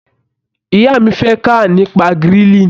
Ìyá mi fẹ́ kà nípa grilling.